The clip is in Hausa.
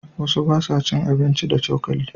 Wasu ba sa cin abinci da cokali.